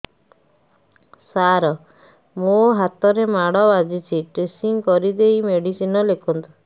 ସାର ମୋ ହାତରେ ମାଡ଼ ବାଜିଛି ଡ୍ରେସିଂ କରିଦେଇ ମେଡିସିନ ଲେଖନ୍ତୁ